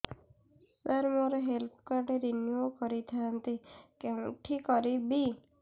ସାର ମୋର health card renew କରିଥାନ୍ତି କେଉଁଠି କରିବି